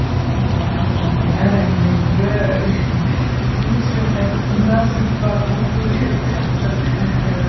ыыы мына айтып жатқан әр әңгімеңізді бірнеше рет қайтып тыңдап сөйтіп барып қорыту керек сияқты